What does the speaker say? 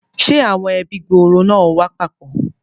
Ṣe awọn ẹbi gbooro náà ò wá papọ?